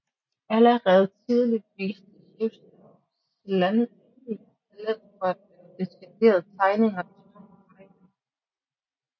Allerede tidligt viste Czesław Słania talent for at lave detaljerede tegninger i små formater